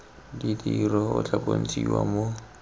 ditiro o tla bontshiwa mo